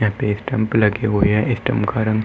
यहाँ पे स्टंप लगे हुए हैं। स्टंप का रंग --